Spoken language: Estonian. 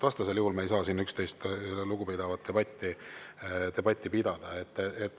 Vastasel juhul me ei saa siin üksteisest lugu pidavat debatti pidada.